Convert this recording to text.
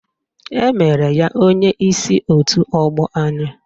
Emere ya onyeisi otu ọgbọ anyị